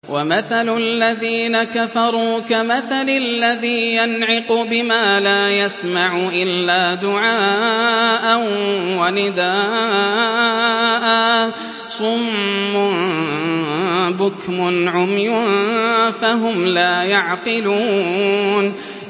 وَمَثَلُ الَّذِينَ كَفَرُوا كَمَثَلِ الَّذِي يَنْعِقُ بِمَا لَا يَسْمَعُ إِلَّا دُعَاءً وَنِدَاءً ۚ صُمٌّ بُكْمٌ عُمْيٌ فَهُمْ لَا يَعْقِلُونَ